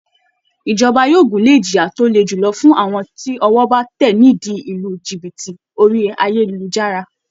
Ìjọba yóò gúnlè ìjìyà tó le julọ fún àwọn tí ọwọ́ bá tẹ̀ ni ìdí lílu jìbìtì orí ayélujára